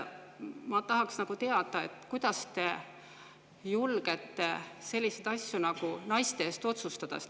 Ma tahaksin teada, kuidas te julgete selliseid asju naiste eest otsustada.